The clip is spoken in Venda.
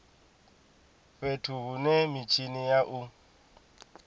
fhethu hune mitshini ya u